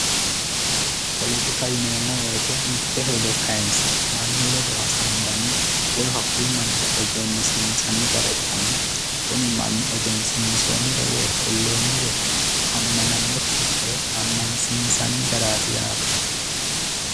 Politika yineemmo woyite mitte hedo kayinse mannu ledo hasaambanni woy hakkuyi mannira egennisiinsanni gara ikkanna, kuni egensiinsoonnire woy kulloonnire amanannokki ikkiro ammansiinsanni garaati yaate.